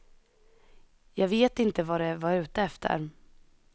Jag vet inte vad de var ute efter.